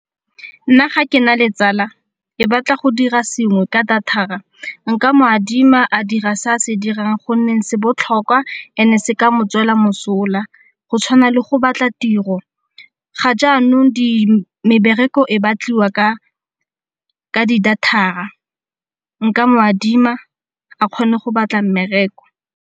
Nna ga ke na le tsala e batla go dira sengwe ka data-ra nka mo adima a dira se a se dirang gonne se botlhokwa ene se ka motswela mosola go tshwana le go batla tiro. Ga jaanong mebereko e batliwa ka di data-ra, nka mo adima a kgone go batla mmereko.